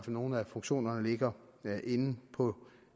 nogle af funktionerne ligger inde på